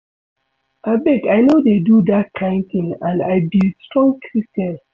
Abeg I no dey do dat kin thing and I be strong Christian